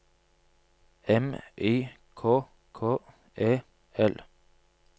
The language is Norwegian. M I K K E L